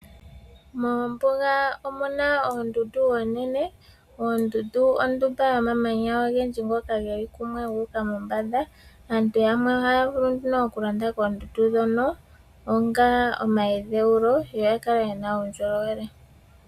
Moombuga omuna oondundu oonene. Ondundu ondumba yomamanya ogendji geli kumwe gu uka mombanda. Aantu yamwe ohaya vulu okulonda koondundu ndhoka onga pomadhewulo yoya kale yena uundjolowele.